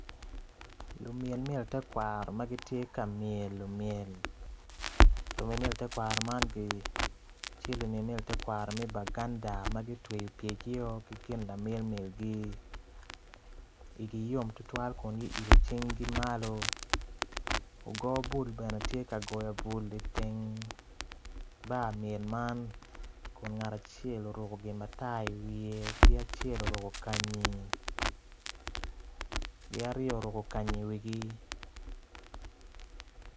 Lumyel myel tekwaro ma gitye ka myelo myel lumyel myel tekwaro man gityel umyel myel tekwaro me baganda ma gutweyo pyergio ki gin lamyel myelgi igi yom tutwal kun guilo cinggi malo ogo bul bene tye ka goyo bul iteng bar myel man kun ngat acel oruko gin matar iwiye ki acel oruko kanyi ki aryo oruko kanyi iwigi.